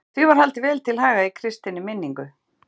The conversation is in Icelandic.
Því var haldið vel til haga í kristinni minningu.